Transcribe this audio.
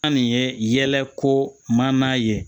An nin ye yɛlɛko man nan ye